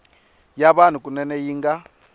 ya vanhu kunene yi nga